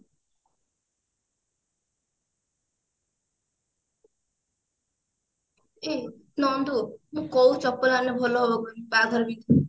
ଏ ନନ୍ଦୁ ମୁଁ କୋଉ ଚପଲ ଆଣିଲେ ଭଲ ହେବ କହିଲୁ ବାହାଘରରେ ପିନ୍ଧିବି